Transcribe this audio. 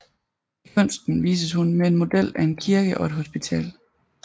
I kunsten vises hun med en model af en kirke og et hospital